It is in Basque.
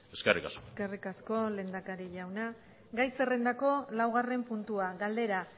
eskerrik asko eskerrik asko lehendakari jauna gai zerrendako laugarren puntua galdera